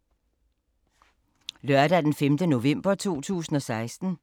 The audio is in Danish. Lørdag d. 5. november 2016